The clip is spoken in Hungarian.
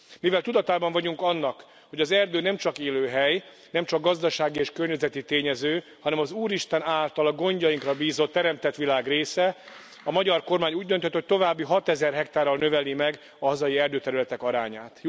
Mivel tudatában vagyunk annak, hogy az erdő nemcsak élőhely, nemcsak gazdasági és környezeti tényező, hanem az Úristen által a gondjainkra bízott teremtett világ része, a magyar kormány úgy döntött, hogy további 6000 hektárral növeli meg a hazai erdőterületek arányát...